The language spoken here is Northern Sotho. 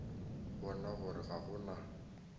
bona gore ga go na